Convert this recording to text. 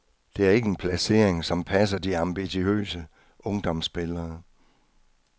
Det er ikke en placering, som passer de ambitiøse ungdomsspillere.